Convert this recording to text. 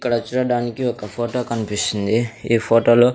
ఇక్కడ చూడడానికి ఒక ఫోటో కనిపిస్తుంది ఈ ఫోటోలు .